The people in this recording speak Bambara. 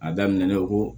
A daminɛna ko